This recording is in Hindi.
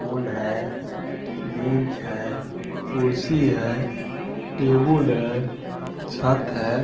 बोल है बेंच है कुर्सी है टेबल है छत है।